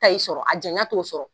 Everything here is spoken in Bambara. sɔrɔ a janya t'o sɔrɔ